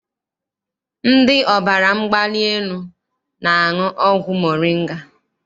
Ndị ọbara mgbali elu na-aṅụ ọgwụ moringa.